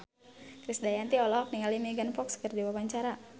Krisdayanti olohok ningali Megan Fox keur diwawancara